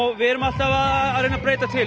við erum alltaf að reyna að breyta til